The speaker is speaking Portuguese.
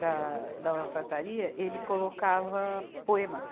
da, da alfaiataria, ele colocava poemas.